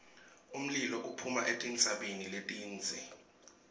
umlilo uphuma etintsabeni letindze